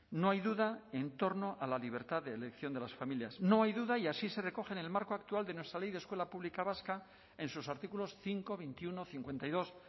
no hay duda en torno a la libertad de elección de las familias no hay duda y así se recoge en el marco actual de nuestra ley de escuela pública vasca en sus artículos cinco veintiuno cincuenta y dos